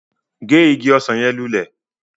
Ge ìgi ọsan yẹn lulẹ!